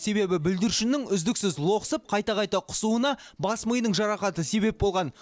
себебі бүлдіршіннің үздіксіз лоқсып қайта қайта құсуына бас миының жарақаты себеп болған